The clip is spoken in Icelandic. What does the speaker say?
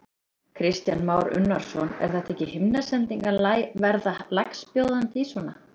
Kristján Már Unnarsson: Er þetta ekki himnasending að verða lægstbjóðandi í svona?